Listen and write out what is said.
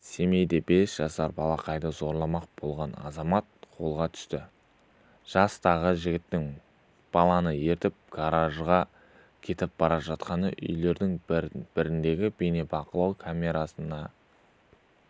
семейде бес жасар балақайды зорламақ болған азамат қолға түсті жастағы жігіттің баланы ертіп гаражға кетіп бара жатқаны үйлердің біріндегі бейнебақылау камерасына